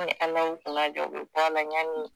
Ni Ala y'i kunnadiya o bɛ bɔ a la yani